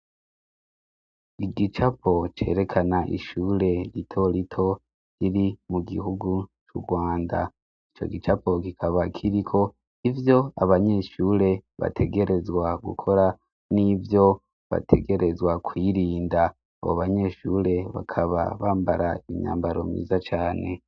Igicapo cerekana ishure ritorito riri mu gihugu c'u rwanda ico gicapo kikaba kiriko ivyo abanyeshure bategerezwa gukora n'ivyo bategerezwa kwirinda abo banyeshure bakaba bambara imyambaromye iza cane.